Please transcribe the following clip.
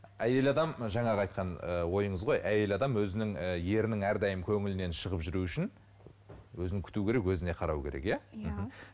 әйел адам жаңағы айтқан ыыы ойыңыз ғой әйел адам өзінің ыыы ерінің әрдайым көңілінен шығып жүру үшін өзін күту керек өзіне қарау керек иә иә мхм